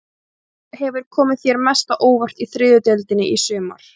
Hvað hefur komið þér mest á óvart í þriðju deildinni í sumar?